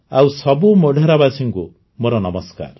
ଆଉ ସବୁ ମୋଢେରାବାସୀଙ୍କୁ ମୋର ନମସ୍କାର